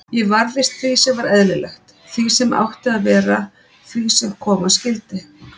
Ég varðist því sem var eðlilegt, því sem átti að vera, því sem koma skyldi.